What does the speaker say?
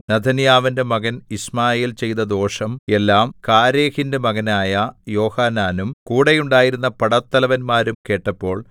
നെഥന്യാവിന്റെ മകൻ യിശ്മായേൽ ചെയ്ത ദോഷം എല്ലാം കാരേഹിന്റെ മകനായ യോഹാനാനും കൂടെ ഉണ്ടായിരുന്ന പടത്തലവന്മാരും കേട്ടപ്പോൾ